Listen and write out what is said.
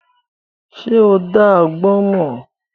Ṣo dá agbọ́n mọ́?